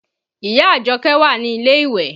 Ìyá Àjọkẹ́ wà ní ilé ìwẹ̀